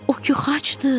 O ki xaçdır.